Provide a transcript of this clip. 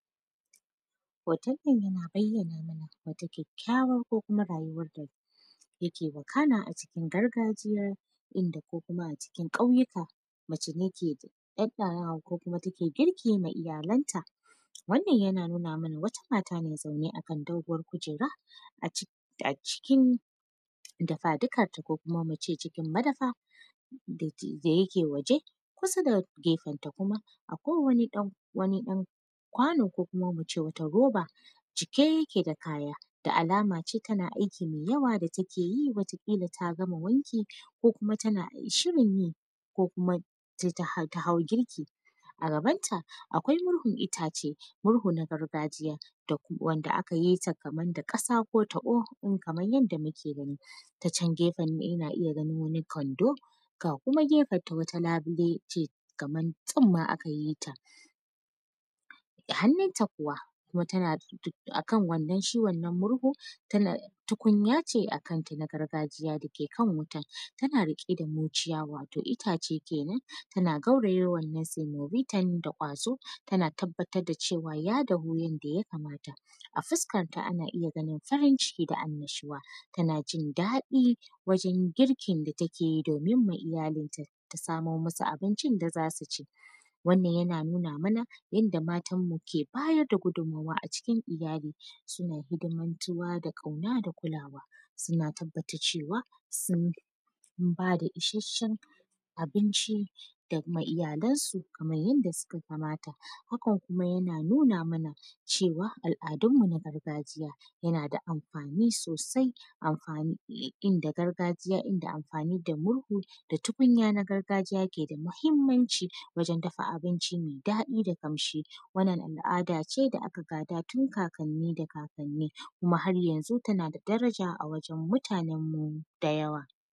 Hoton nan da na ayyana mana wata kyayyawa ko kuma al’ada yake gudana a cikin gargajiya inda ko kuma a cikin ƙauyuka, mace take tsatsarawa ko kuma take girki ma iyalanta, wannan yana nuna mana wata mata ne zaune akan dogor kujera a cikin dafadukan ta ko kuma muce madafa da yake waje kusa da gefenta kuma akwai ɗan wani kwano ko kuma muce wata roba cike yake da kaya da alama ce tana aiki mai yawa da take yi wata kila ta gama wanki ko kuma tana shirin yi ko kuma ta hau girki a gabanta akwai murhun itace murhu na gargajiya wanda aka yi ta da kasa ko taɓo kamar yadda muke gani ta can gefen ana iya ganin Kwando ga wata gefen ta wani labule ce kamar tsunma aka yi ta, da hannunta kuwa wa akan shi wannan murhun tukunya ce a kanta na gargajiya dake kan wuta tana rike da murciya wato itace kenan tana gauraye wannan semobita da kwazo tana tabbatar da cewa ya dafu yadda ya kamata a fuskanta ana iya ganin ta cikin anashuwa tana cin daɗi girkin da take yi domin ma iyalin ta samo musu abincin da zasu ci, wannan yana nuna mana yadda matar mu ke bayar da gudunmuwa a cikin iyali suna hidimantuwa da kauna da kulawa suna tabbatar cewa sun bada isashen abinci da kuma iyalansu kamar yadda suka kamata hakan kuma yana nuna mana cewa al’adun mu na gargajiya yana da amfani sosai inda gargajiya amfani da murhu da tukunya na gargajiya yake da muhimmanci wajen dafa abinci mai daɗi da kamshi wannan al’ada ce da aka gada tun kakanni da kakanni kuma har yanzu tana da daraja a wajen mutanan mu da yawa.